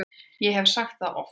Ég hef sagt það oft.